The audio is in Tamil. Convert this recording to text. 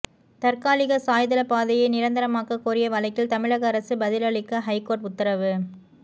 தற்காலிக சாய்தள பாதையை நிரந்தரமாக்க கோரிய வழக்கில் தமிழக அரசு பதிலளிக்க ஹைகோர்ட் உத்தரவு